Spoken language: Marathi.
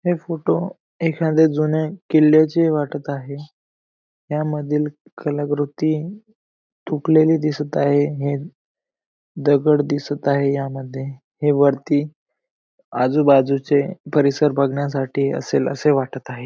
हे फोटो एखादया जुन्या किल्ल्याचे वाटत आहे या मधील कला कृती तुटलेली दिसत आहे हे दगड दिसत आहे ह्यामध्ये हे वरती आजू बाजू चे परिसर बघण्यासाठी असेल असे वाटत आहे.